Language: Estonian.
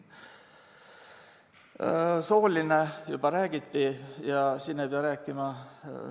Soolisest juba räägiti.